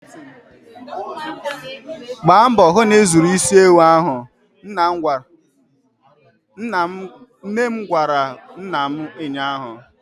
Gba mbọ hụ na ị zụrụ isi ewu ahụ! nnem gwara nna m ụnyaahụ.